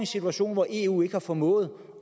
situation hvor eu ikke har formået